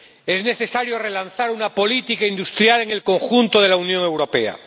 Es necesario relanzar una política industrial en el conjunto de la Unión Europea.